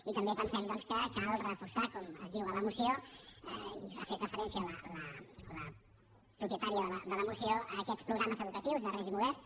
i també pensem que cal reforçar com es diu a la moció i hi ha fet referència la propietària de la moció a aquests programes educatius de règim obert